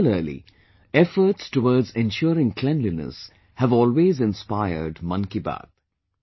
Similarly, efforts towards ensuring cleanliness have always inspired Mann Ki Baat